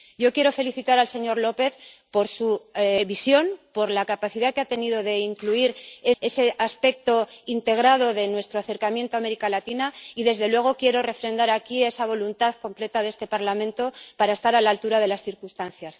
Yo quiero felicitar al señor López por su visión, por la capacidad que ha tenido de incluir ese aspecto integrado de nuestro acercamiento a América Latina y, desde luego, quiero refrendar aquí la voluntad plena de este Parlamento de estar a la altura de las circunstancias.